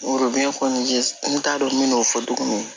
n t'a dɔn n bɛ n'o fɔ tuguni